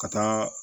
Ka taa